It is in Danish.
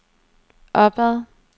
opad